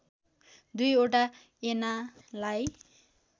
दुई वटा ऐनालाई